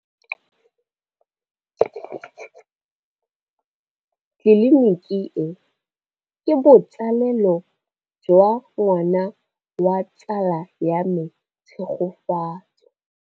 Tleliniki e, ke botsalêlô jwa ngwana wa tsala ya me Tshegofatso.